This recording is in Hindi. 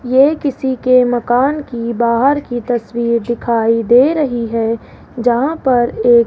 ये किसी के मकान की बाहर की तस्वीर दिखाई दे रही है जहां पर एक --